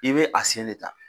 I be a sen de ta.